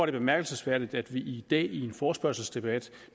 det bemærkelsesværdigt at vi i dag i en forespørgselsdebat